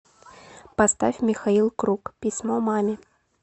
поставь михаил круг письмо маме